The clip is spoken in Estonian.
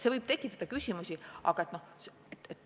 See võib tekitada küsimusi.